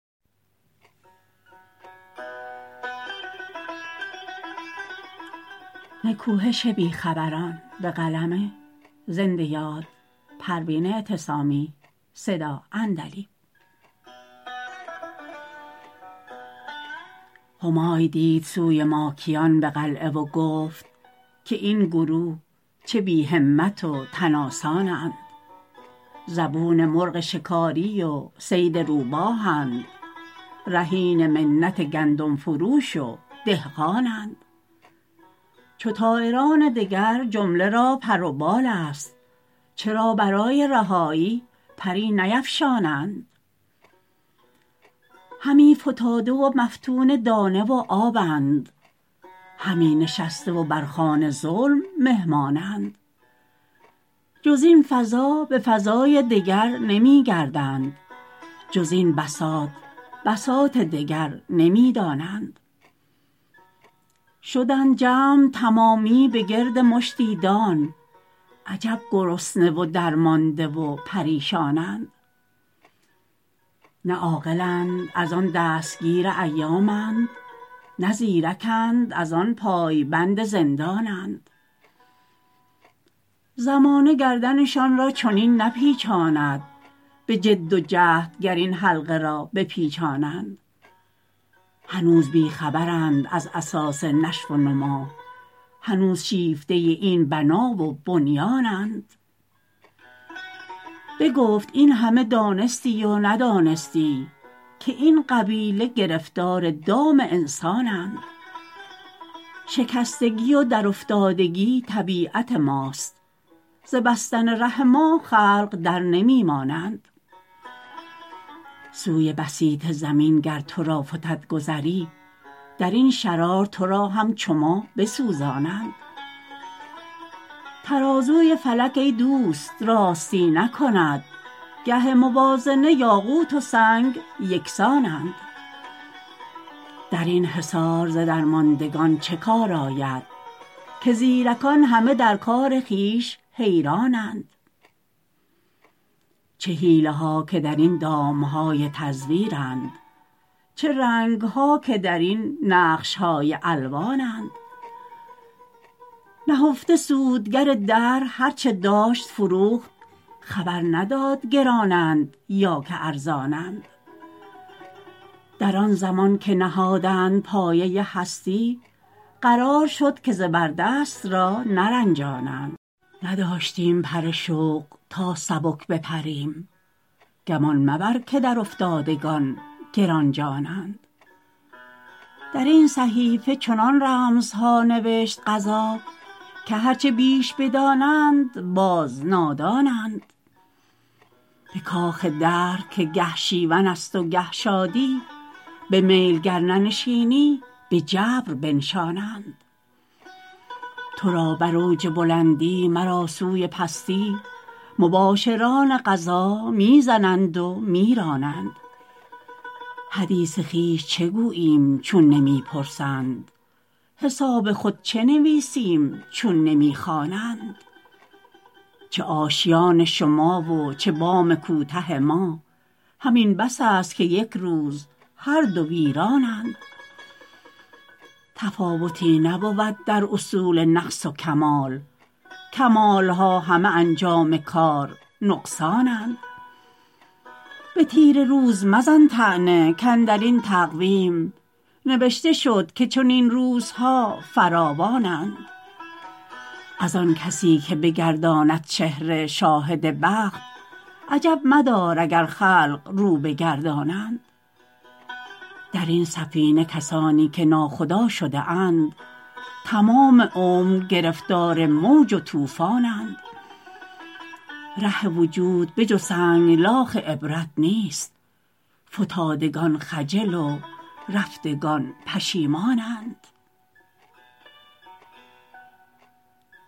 همای دید سوی ماکیان بقلعه و گفت که این گروه چه بی همت و تن آسانند زبون مرغ شکاری و صید روباهند رهین منت گندم فروش و دهقانند چو طایران دگر جمله را پر و بال است چرا برای رهایی پری نیفشانند همی فتاده و مفتون دانه و آبند همی نشسته و بر خوان ظلم مهمانند جز این فضا به فضای دگر نمیگردند جز این بساط بساط دگر نمیدانند شدند جمع تمامی بگرد مشتی دان عجب گرسنه و درمانده و پریشانند نه عاقلند از آن دستگیر ایامند نه زیر کند از آن پای بند زندانند زمانه گردنشان را چنین نپیچاند بجد و جهد گر این حلقه را بپیچانند هنوز بی خبرند از اساس نشو و نما هنوز شیفته این بنا و بنیانند بگفت این همه دانستی و ندانستی که این قبیله گرفتار دام انسانند شکستگی و درافتادگی طبیعت ماست ز بستن ره ما خلق در نمی مانند سوی بسیط زمین گر تو را فتد گذری درین شرار ترا هم چو ما بسوزانند ترازوی فلک ای دوست راستی نکند گه موازنه یاقوت و سنگ یکسانند درین حصار ز درماندگان چه کار آید که زیرکان همه در کار خویش حیرانند چه حیله ها که درین دامهای تزویرند چه رنگها که درین نقشهای الوانند نهفته سودگر دهر هر چه داشت فروخت خبر نداد گرانند یا که ارزانند در آن زمان که نهادند پایه هستی قرار شد که زبردست را نرجانند نداشتیم پر شوق تا سبک بپریم گمان مبر که در افتادگان گرانجانند درین صحیفه چنان رمزها نوشت قضا که هر چه بیش بدانند باز نادانند بکاخ دهر که گه شیون است و گه شادی بمیل گر ننشینی بجبر بنشانند ترا بر اوج بلندی مرا سوی پستی مباشران قضا میزنند و میرانند حدیث خویش چه گوییم چون نمیپرسند حساب خود چه نویسیم چون نمیخوانند چه آشیان شما و چه بام کوته ما همین بس است که یکروز هر دو ویرانند تفاوتی نبود در اصول نقص و کمال کمالها همه انجام کار نقصانند به تیره روز مزن طعنه کاندرین تقویم نوشته شد که چنین روزها فراوانند از آن کسیکه بگرداند چهره شاهد بخت عجب مدار اگر خلق رو بگردانند درین سفینه کسانی که ناخدا شده اند تمام عمر گرفتار موج و طوفانند ره وجود به جز سنگلاخ عبرت نیست فتادگان خجل و رفتگان پشیمانند